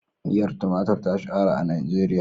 Miyar tumatur ta shahara a Najeriya.